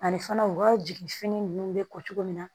Ani fana u ka jigin fini ninnu bɛ ko cogo min na